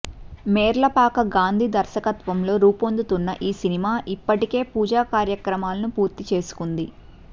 మేర్లపాక గాంధీ దర్శకత్వంలో రూపొందుతున్న ఈ సినిమా ఇప్పటికే పూజ కార్యక్రమాలను పూర్తి చేసుకుంది